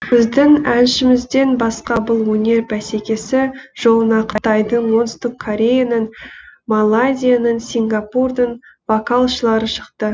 біздің әншімізден басқа бұл өнер бәсекесі жолына қытайдың оңтүстік кореяның малайзияның сингапурдың вокалшылары шықты